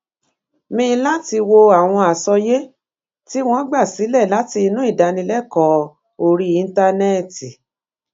mi láti wo àwọn àsọyé tí wón gba sílè látinú ìdánilékòó orí íńtánéètì